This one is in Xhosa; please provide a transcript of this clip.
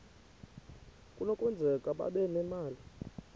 kunokwenzeka babe nemali